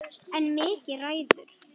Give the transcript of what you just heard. En Mikki ræður.